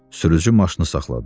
Sürücü maşını saxladı.